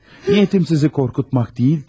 Niyyətim sizi qorxutmaq deyil idi.